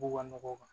Bubaganɔgɔ